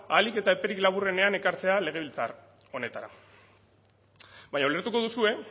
ahalik eta eperik laburrenean ekartzea legebiltzar honetara baina ulertuko duzue